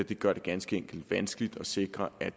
det gør det ganske enkelt vanskeligt at sikre at